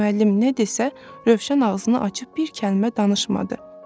Ancaq müəllim nə desə, Rövşən ağzını açıb bir kəlmə danışmadı.